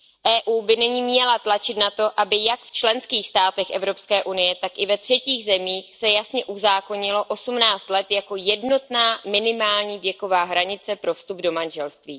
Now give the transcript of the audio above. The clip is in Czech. EU by nyní měla tlačit na to, aby jak v členských státech Evropské unie, tak i ve třetích zemích se jasně uzákonilo osmnáct let jako jednotná minimální věková hranice pro vstup do manželství.